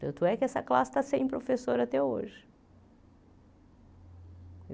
Tanto é que essa classe está sem professor até hoje.